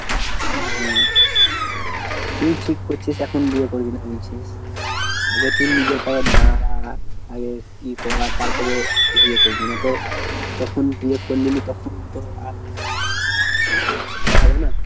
আহ তুই ঠিক করছিস এখন বিয়ে করবি না বলছিস। আগে তোর নিজের পায়ে দাড়া। আগে ইয়ে কর তারপরে বিয়ে করবি। না তো তখন বিয়ে করলে তখন তো আর বসে থাকা হবে না।